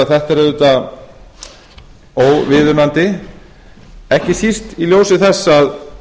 þetta er auðvitað óviðunandi ekki síst í ljósi þess að